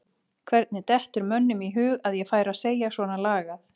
Hvernig dettur mönnum í hug að ég færi að segja svona lagað?